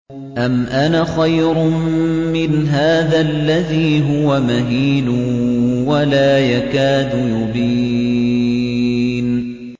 أَمْ أَنَا خَيْرٌ مِّنْ هَٰذَا الَّذِي هُوَ مَهِينٌ وَلَا يَكَادُ يُبِينُ